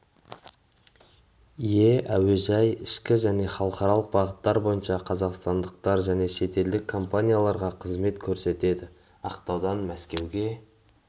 ие әуежай ішкі және халықаралық бағыттар бойынша қазақстандық және шетелдік компанияларға қызмет көрсетеді ақтаудан мәскеу